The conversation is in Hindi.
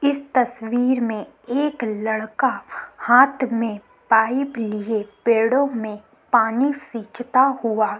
इस तस्वीर में एक लड़का हाथ में पाइप लिए पेड़ों में पानी सिचता हुआ --